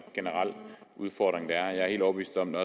generel udfordring der er jeg er helt overbevist om at